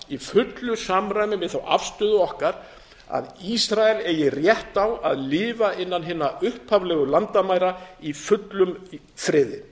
í fullu samræmi við þá afstöðu okkar að ísrael eigi rétt á að lifa innan hinna upphaflegu landamæra í fullum friði